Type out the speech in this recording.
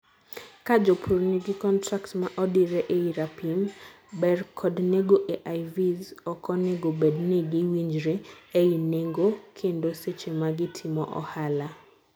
kaa jopur nigi contract ma odire ei rapim, ber kod nengo AIVs, oko nego bed ni gi winjre ei nengo kendo seche ma gitimo ohala